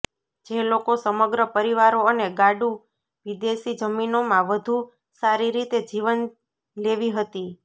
જે લોકો સમગ્ર પરિવારો અને ગાડું વિદેશી જમીનો માં વધુ સારી રીતે જીવન લેવી હતી